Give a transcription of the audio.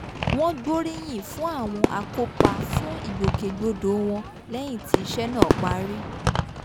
wọ́n gbóríyìn fún àwọn akópa fún ìgbòkègbodò wọn lẹ́yìn tí iṣẹ́ náà parí